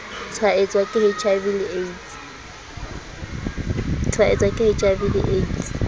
tshwaetswa ke hiv le aids